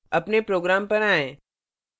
अपने program पर आएँ